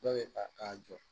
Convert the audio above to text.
Dɔ bɛ ta k'a jɔ